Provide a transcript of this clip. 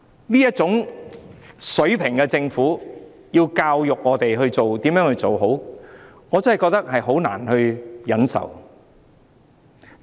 由這種水平的政府教導我們如何行事，我真的覺得難以忍受。